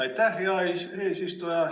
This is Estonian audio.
Aitäh, hea eesistuja!